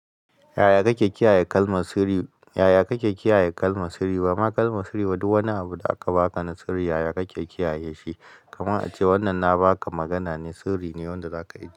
Yaya kake kiyaye kalmar sirri? Yaya kake kiyaye kalmar sirri? Bama kalmar sirri ba duk wani abu da aka baka na sirri yaya kake kiyaye shi? Kaman a ce wannan na baka magana ne sirri ne yanda zaka yi.